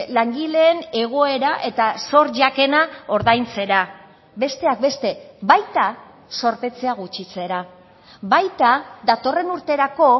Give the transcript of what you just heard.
langileen egoera eta zor jakena ordaintzera besteak beste baita zorpetzea gutxitzera baita datorren urterako